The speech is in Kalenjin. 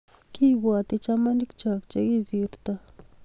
Kipwoti chamanik choo Che kisirto